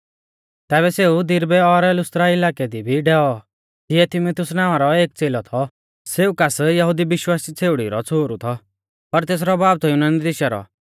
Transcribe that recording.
तैबै सेऊ दिरबै और लुस्त्रा इलाकै दी भी डैऔ तिऐ तीमुथियुस नावां रौ एक च़ेलौ थौ सेऊ कास यहुदी विश्वासी छ़ेउड़ी रौ छ़ोहरु थौ पर तेसरौ बाब थौ युनानी देशा रौ